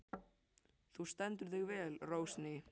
Þú stendur þig vel, Rósný!